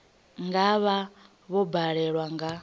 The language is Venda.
nga vha vho badela nga